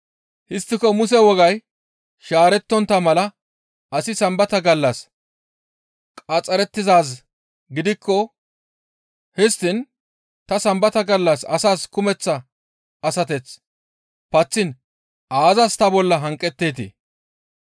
Histtiko Muse wogay shaarettontta mala asi Sambata gallas qaxxarettizaaz gidikko histtiin ta Sambata gallas asaas kumeththa asateth paththiin aazas ta bolla hanqetteetii?